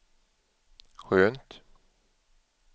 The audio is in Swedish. skönt